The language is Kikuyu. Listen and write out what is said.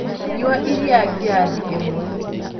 Nyua iria ngirathi ĩmwe